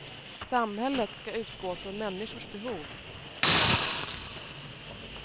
Samhället ska utgå från människors behov.